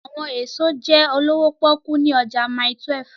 Awọn eso jẹ olowo poku ni ọja Mile 12